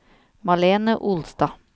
Malene Olstad